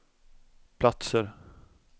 platser